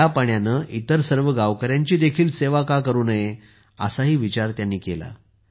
या पाण्याने इतर सर्व गावकऱ्यांची सेवा का करू नये असा विचार त्यांनी केला